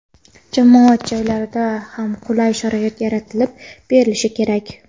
jamoat joylarida ham qulay sharoit yaratib berilishi kerak.